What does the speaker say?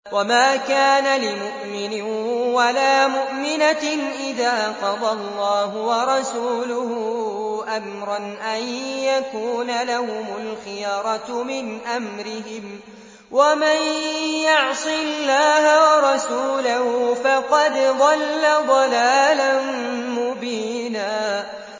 وَمَا كَانَ لِمُؤْمِنٍ وَلَا مُؤْمِنَةٍ إِذَا قَضَى اللَّهُ وَرَسُولُهُ أَمْرًا أَن يَكُونَ لَهُمُ الْخِيَرَةُ مِنْ أَمْرِهِمْ ۗ وَمَن يَعْصِ اللَّهَ وَرَسُولَهُ فَقَدْ ضَلَّ ضَلَالًا مُّبِينًا